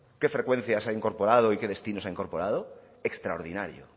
qué frecuencias ha incorporado y que destinos ha incorporado extraordinario